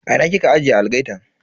A ina kika ajiye algaitan?